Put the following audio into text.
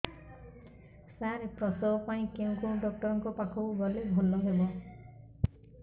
ସାର ପ୍ରସବ ପାଇଁ କେଉଁ ଡକ୍ଟର ଙ୍କ ପାଖକୁ ଗଲେ ଭଲ ହେବ